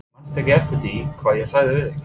Manstu ekki eftir því hvað ég sagði við þig?